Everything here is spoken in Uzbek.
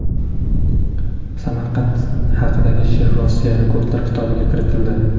Samarqand haqidagi she’r Rossiya Rekordlar kitobiga kiritildi.